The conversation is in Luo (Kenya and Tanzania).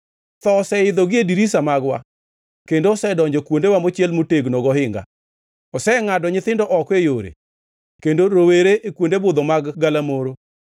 Tho oseidho gie dirisni magwa kendo osedonjo kuondewa mochiel motegno gohinga; osengʼado nyithindo oko e yore kendo rowere e kuonde budho mag galamoro.